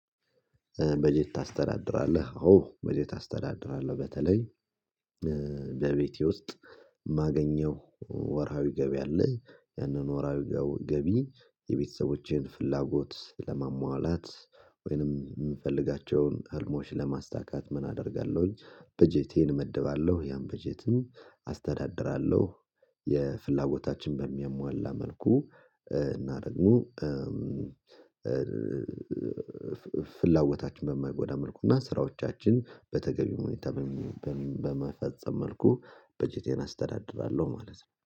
በጀት ታስተዳድራለህ አዎ በጀት አስተዳድራለህ? በተለይ በቤቴ ውስጥ ማገኘው ወርሃዊ ገቢ አለ ያንን ወርሃዊ ገቢ የቤተሰቦቼን ፍላጎት ለማሟላት ወይንም የምፈልጋቸውን ህልሞች ለማሳካት ምን አደርጋለሁኝ በጀቴን እመድባለሁ ያን በጀትም አስተዳድራለሁ። የፍላጎታችን በሚያሟላ መልኩ እናደግሞ ፍላጎታችን በማይጎዳ መልኩ እና ስራዎቻችን በተገቢው ሁኔታ በመፈጸም መልኩ በጀቴን አስተዳድራለሁ ማለት ነው